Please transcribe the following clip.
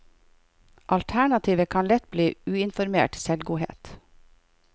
Alternativet kan lett bli uinformert selvgodhet.